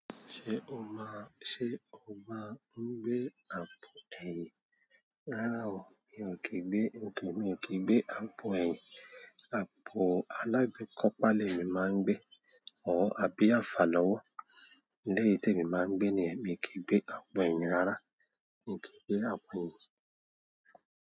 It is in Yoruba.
Ṣé o má, ṣe o máa ń gbé àpò ẹ̀yìn? Rárá o, mi ò kìí gbé, okay, mi ò kí gbé àpò ẹ̀yìn. Àpò alágbèékọ́ páálí mi máa ń gbé. Òò, àbí àfà lọ́wọ́? Lẹ́yìn tí èmi máa ń gbé ni, míì kì í gbé àpò ẹ̀yìn rárá. Mi ò kí gbé àpò ẹ̀yìn.